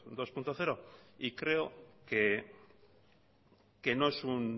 dos punto cero y creo que no es un